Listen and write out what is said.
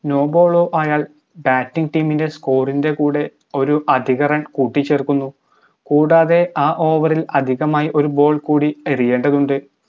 no ball ഓ ആയാൽ batting team ൻറെ score ൻറെ കൂടെ ഒരു അധിക run കൂട്ടിച്ചേർക്കുന്നു കൂടാതെ ആ over ഇൽ അധികമായി ഒരു ball കൂടി എറിയേണ്ടതുണ്ട്